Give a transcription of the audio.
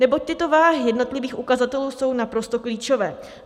Neboť tyto váhy jednotlivých ukazatelů jsou naprosto klíčové.